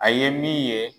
A ye min ye